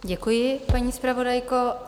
Děkuji, paní zpravodajko.